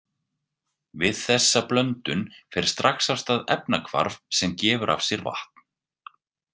Við þessa blöndun fer strax af stað efnahvarf sem gefur af sér vatn.